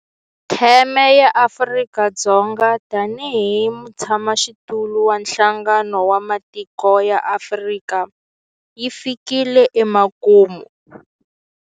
Theme ya Afrika-Dzonga tanihi mutshamaxitulu wa Nhlangano wa Matiko ya Afrika yi fikile emakumu.